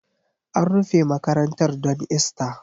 An rufe makarantar don Ista